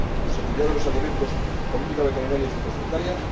seguridad de los alimentos, política veterinaria y fitosanitaria